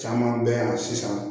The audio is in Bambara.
Caman bɛ yan sisan